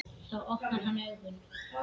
Þá opnar hann augun.